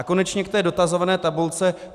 A konečně k té dotazované tabulce.